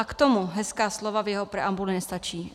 A k tomu hezká slova v jeho preambuli nestačí.